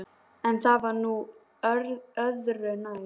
En það var nú öðru nær.